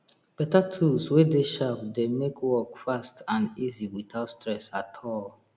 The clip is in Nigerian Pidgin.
beta tools wey dey sharp dey make work fast and easy witout stress at all